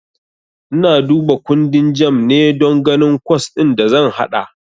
Ina duba kundin JAMB ne don ganin kwas din da zan haɗa.